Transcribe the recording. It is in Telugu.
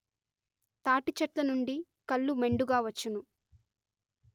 తాటి చెట్లనుండి కల్లు మెండుగా వచ్చును